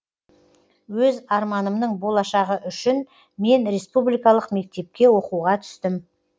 өз арманымның болашағы үшін мен республикалық мектепке оқуға түстім